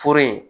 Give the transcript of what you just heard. Foro in